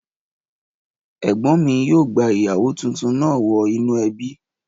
Ẹ̀gbọ́n mi yóò gba ìyàwó tuntun náà wọ inú ẹbí